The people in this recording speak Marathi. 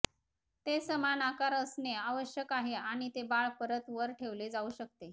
ते समान आकार असणे आवश्यक आहे आणि ते बाळ परत वर ठेवले जाऊ शकते